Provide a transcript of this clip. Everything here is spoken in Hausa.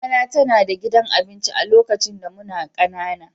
Mama na tana da gidan abinci lokacin da muna ƙanana.